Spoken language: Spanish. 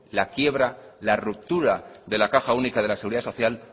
la quiebra la ruptura de la caja única de la seguridad social